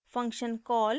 function call